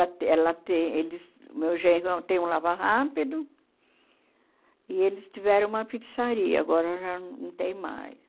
Ela tem ela tem eles o meu genro tem um lava-rápido e eles tiveram uma pizzaria, agora já não tem mais.